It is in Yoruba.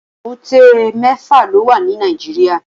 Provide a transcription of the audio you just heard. Ébùté mèfá ló wá ni Nàijiriá